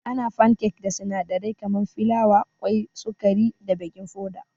Ana fankek da sinadarai kaman filawa, kwai, sukari da baking foda.